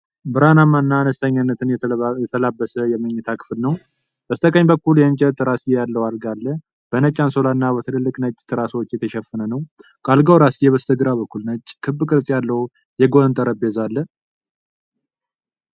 ብርሃናማና አነስተኛነትን የተላበሰ የመኝታ ክፍል ነው። በስተቀኝ በኩል የእንጨት ራስጌ ያለው አልጋ አለ፣ በነጭ አንሶላና በትልልቅ ነጭ ትራሶች የተሸፈነ ነው። ከአልጋው ራስጌ በስተግራ በኩል ነጭ፣ ክብ ቅርጽ ያለው የጎን ጠረጴዛ አለ።